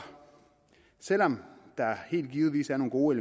selv om der helt givet er nogle gode